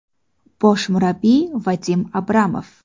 Bosh murabbiy: Vadim Abramov.